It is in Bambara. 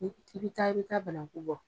i bi taa i bɛ taa banaku bɔ.